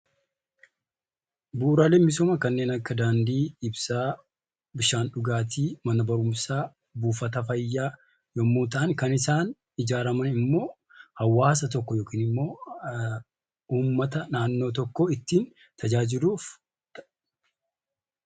Bu'uraaleen misoomaa kanneen akka Daandii, Ibsaa, Bishaan dhugaatii, Mana barumsaa, Buufata fayyaa yommuu ta'an, kan isaan ijaaraman immoo hawaasa tokko yookiin immoo uummata naannoo tokkoo ittiin tajaajiluuf ta'a.